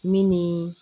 Min ni